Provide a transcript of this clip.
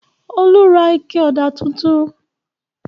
Olú ra ike ọ̀dà tuntun.